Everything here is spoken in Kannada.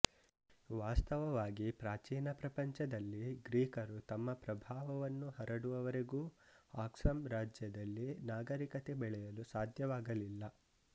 ವಾಸ್ತವವಾಗಿ ಪ್ರಾಚೀನಪ್ರಪಂಚದಲ್ಲಿ ಗ್ರೀಕರು ತಮ್ಮ ಪ್ರಭಾವವನ್ನು ಹರಡುವವರೆಗೂ ಆಕ್ಸಂ ರಾಜ್ಯದಲ್ಲಿ ನಾಗರಿಕತೆ ಬೆಳೆಯಲು ಸಾಧ್ಯವಾಗಲಿಲ್ಲ